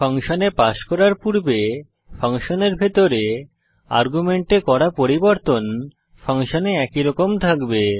ফাংশনে পাস করার পূর্বে ফাংশনের ভিতরে আর্গুমেন্টে করা পরিবর্তন ফাংশনে একইরকম থাকবে